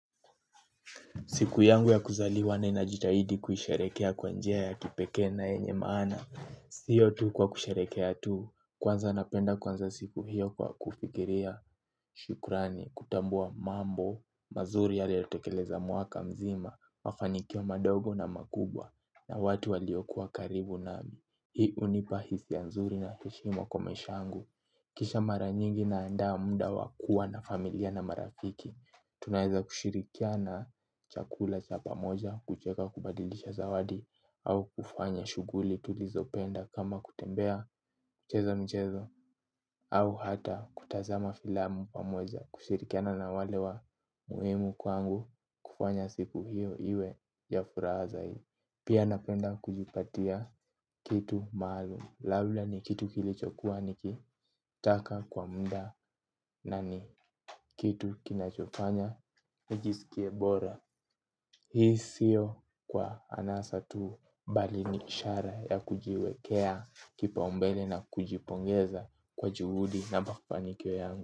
Siku yangu ya kuzaliwa ninajitahidi kuisherekea kwa njia ya kipekee na yenye maana. Sio tu kwa kusherehekea tu. Kwanza napenda kuanza siku hiyo kwa kufikiria shukrani kutambua mambo mazuri yaliyotekeleza mwaka mzima mafanikio madogo na makubwa na watu waliokuwa karibu nami. Hii hunipa hisia nzuri na heshima kwa maisha yangu. Kisha mara nyingi naandaa muda wa kuwa na familia na marafiki. Tunaeza kushirikiana chakula cha pamoja kucheka kubadilisha zawadi au kufanya shughuli tulizo penda kama kutembea cheza michezo au hata kutazama filamu pamoja kushirikiana na wale wa muhimu kwangu kufanya siku hiyo iwe ya furaha zaidi. Pia napenda kujipatia kitu maalum Laula ni kitu kilichokuwa nikitaka kwa muda. Na ni kitu kinachofanya nijisikie bora. Hii sio kwa anasa tu bali ni ishara ya kujiwekea kipaumbele na kujipongeza kwa juhudi na mafanikio yangu.